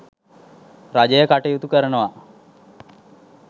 රජය කටයුතු කරනවා.